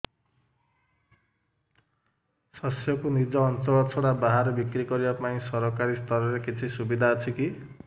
ଶସ୍ୟକୁ ନିଜ ଅଞ୍ଚଳ ଛଡା ବାହାରେ ବିକ୍ରି କରିବା ପାଇଁ ସରକାରୀ ସ୍ତରରେ କିଛି ସୁବିଧା ଅଛି କି